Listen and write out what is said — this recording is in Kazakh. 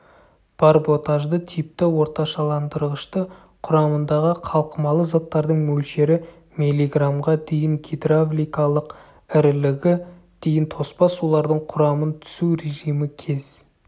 барботажды типті орташаландырғышты құрамындағы қалқымалы заттардың мөлшері миллиграммға дейін гидравликалық ірілігі дейін тоспа сулардың құрамын түсу режимі кез